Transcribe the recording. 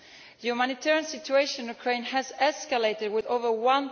The humanitarian situation in Ukraine has escalated, with more than